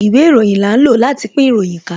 Ìwé ìròyìn là ń lò láti pín ìròyìn ká